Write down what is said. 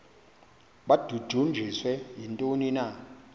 babudunjiswe yintoni na